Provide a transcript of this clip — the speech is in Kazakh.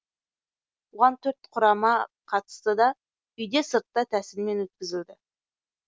оған төрт құрама қатысты да үйде сыртта тәсілімен өткізілді